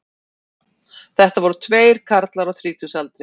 Þetta voru tveir karlar á þrítugsaldri